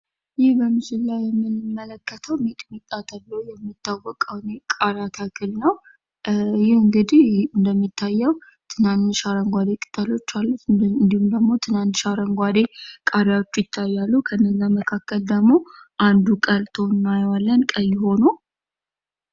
በምስሉ ላይ የምንመለከተዉ ሚጥሚጣ ተብሎ የሚታወቀውን የቃሪያ ተክል ነው ትንንሽ አረንጓዴ ቅጠሎች አሉት እንዲሁም ትናንሽ አረንጓዴ ቃራዎች ይታያሉ ፥ መካከል ደግሞ አንዱ ቀልቶ እናየዋለን ቀይ ሆኖ።